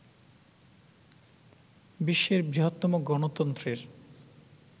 বিশ্বের বৃহত্তম গণতন্ত্রের